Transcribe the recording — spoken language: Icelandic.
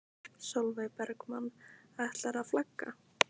Sólveig Bergmann: Ætlarðu að flagga?